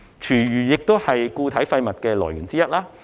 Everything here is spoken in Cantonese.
廚餘亦是固體廢物的來源之一。